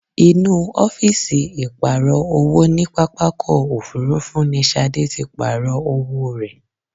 Inú ọ́fíìsì ìpààrọ̀ owó ní pápákọ̀ òfúrúfú ní Ṣadé tí pàarọ̀ owó rẹ ẹ̀.